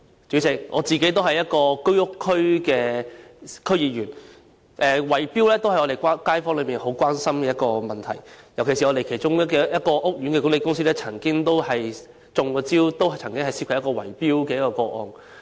主席，我自己也是居屋選區的區議員，圍標是我們的街坊很關注的問題，尤其是我們其中一個屋苑的管理公司亦曾受害，發生了一宗圍標個案。